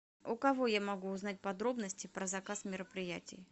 у кого я могу узнать подробности про заказ мероприятий